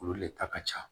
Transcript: Olu le ta ka ca